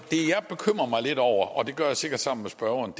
bekymrer mig lidt over og det gør jeg sikkert sammen med spørgeren